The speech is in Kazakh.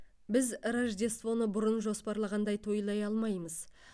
біз рождествоны бұрын жоспарлағандай тойлай алмаймыз